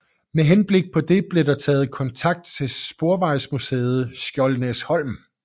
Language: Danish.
Med henblik på det blev der taget kontakt til Sporvejsmuseet Skjoldenæsholm